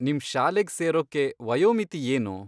ನಿಮ್ ಶಾಲೆಗ್ ಸೇರೋಕ್ಕೆ ವಯೋಮಿತಿ ಏನು?